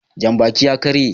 Janbakin ya ƙarye